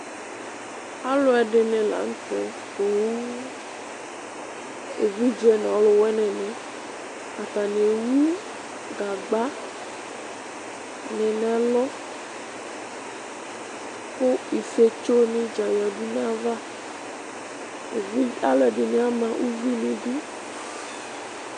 Alu ɛdɩnɩ la nʋ tɛ poo Evidze nʋ aluwini nɩ Atani ewu gagba lʋ nʋ ɛlʋ, kʋ ifiotso nɩ dza yǝdu nʋ ayava Alu ɛdɩnɩ ama uvi nʋ idu